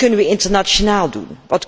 Wat kunnen we internationaal doen?